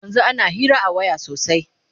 yanzun ana Hira a waya sosai